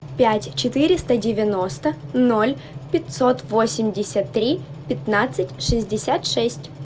пять четыреста девяносто ноль пятьсот восемьдесят три пятнадцать шестьдесят шесть